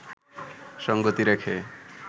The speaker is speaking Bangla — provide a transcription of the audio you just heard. সঙ্গতি রেখে